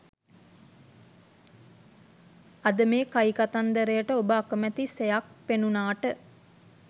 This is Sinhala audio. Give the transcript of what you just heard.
අද මේ කයිකතන්දරයට ඔබ අකමැති සෙයක් පෙණුනාට